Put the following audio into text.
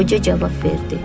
Qoca cavab verdi.